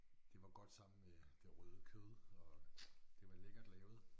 Det var godt sammen med det røde kød og det var lækkert lavet